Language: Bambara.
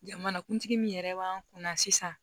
Jamanakuntigi min yɛrɛ b'an kunna sisan